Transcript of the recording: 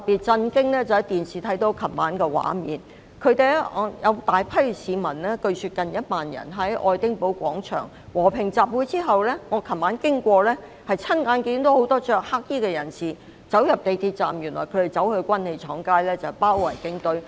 昨晚從電視看到的畫面令我很震驚，據說有近萬名市民在愛丁堡廣場和平集會，而我昨晚途經時親眼看到很多穿黑衣的人士進入港鐵站，原來他們要到軍器廠街包圍警察總部。